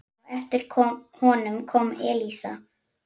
Á eftir honum kom Elísa.